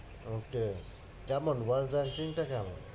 Okay কেমন world rising টা কেমন?